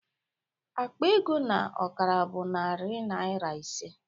Akpa ego na ọkara bụ narị naịra ise